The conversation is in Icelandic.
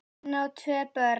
Hann á tvö börn.